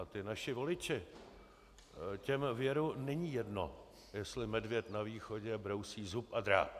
A ti naši voliči, těm věru není jedno, jestli medvěd na východě brousí zub a dráp.